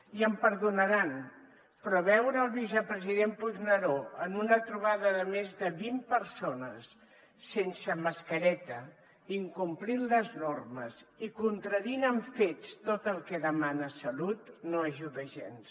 i em perdonaran però veure el vicepresident puigneró en una trobada de més de vint persones sense mascareta incomplint les normes i contradient amb fets tot el que demana salut no ajuda gens